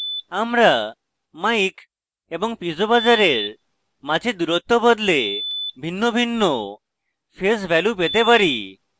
আমরা mic এবং piezo buzzer we মাঝে দূরত্ব বদলে ভিন্নভিন্ন phase ভ্যালু পেতে পারি